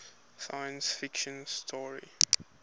science fiction story